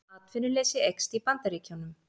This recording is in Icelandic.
Atvinnuleysi eykst í Bandaríkjunum